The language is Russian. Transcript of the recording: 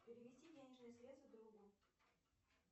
перевести денежные средства другу